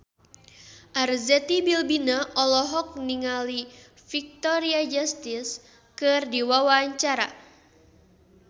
Arzetti Bilbina olohok ningali Victoria Justice keur diwawancara